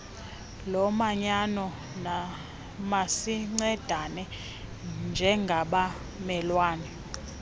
lomanyano masincedane njengabamelwane